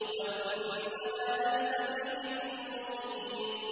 وَإِنَّهَا لَبِسَبِيلٍ مُّقِيمٍ